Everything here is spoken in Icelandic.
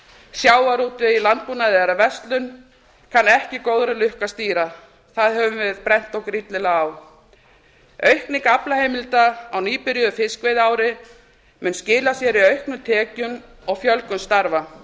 sjávarútveg í landbúnaði eða verslun kann ekki góðri lukku að stýra því höfum við brennt okkur illilega á aukning aflaheimilda á nýbyrjuðu fiskveiðiári mun skila sér í auknum tekjum og fjölgun starfa